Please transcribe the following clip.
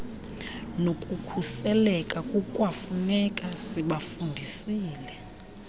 nokukhuseleka kukwafuneka sibafundisile